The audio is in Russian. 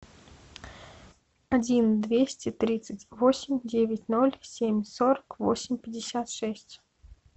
один двести тридцать восемь девять ноль семь сорок восемь пятьдесят шесть